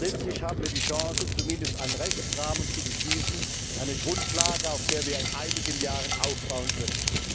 Letztlich haben wir die Chance, zumindest einen Rechtsrahmen zu beschließen, eine Grundlage, auf der wir in einigen Jahren aufbauen können.